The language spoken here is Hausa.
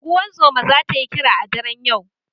Unguzuma zata yi kira a daren yau